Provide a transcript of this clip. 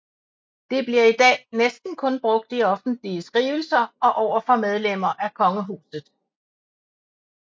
Det bliver i dag næsten kun brugt i offentlige skrivelser og over for medlemmer af kongehuset